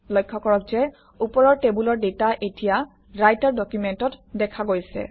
লক্ষ্য কৰক যে ওপৰৰ টেবুলৰ ডাটা এতিয়া ৰাইটাৰ ডকুমেণ্টত দেখা গৈছে